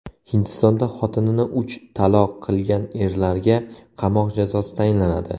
Hindistonda xotinini uch taloq qilgan erlarga qamoq jazosi tayinlanadi.